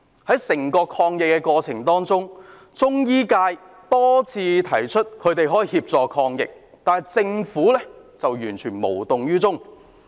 在整個抗疫過程當中，中醫界多次提出，他們可以協助抗疫，但政府完全無動於衷。